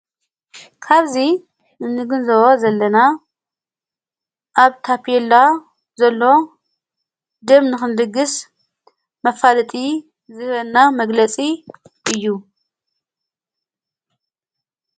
ካብዚ እንግንዘቦ ዘለና ኣብ ታፔላ ዘሎ ድደ ንኽንልግሥ ማፋለጢ ዝህበና መግለጺ እዩ።